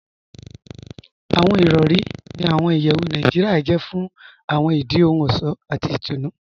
Awọn irọ̀ri ní awọn ìyẹwù Naijiria jẹ̀ fún awọn ìdí ohun ọṣọ̀ àti ìtúnu.